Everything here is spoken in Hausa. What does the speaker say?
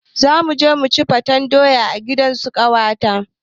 Zamuje muci faten doya a gidansu ƙawata